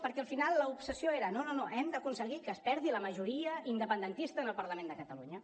perquè al final l’obsessió era no no hem d’aconseguir que es perdi la majoria independentista en el parlament de catalunya